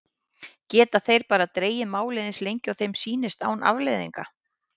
Geta þeir bara dregið málið eins lengi og þeim sýnist án afleiðinga?